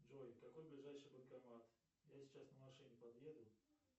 джой какой ближайший банкомат я сейчас на машине подъеду